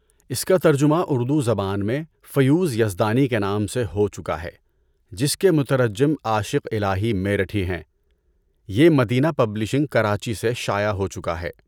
اس کا ترجمہ اردو زبان میں فیوض یزدانی کے نام سے ہو چکا ہے جس کے مترجم عاشق الٰہی میرٹھی ہیں۔ یہ مدینہ پبلشنگ کراچی سے شائع ہو چکا ہے۔